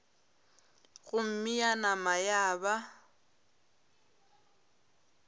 gomme ya nama ya ba